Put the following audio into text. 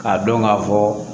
K'a dɔn ka fɔ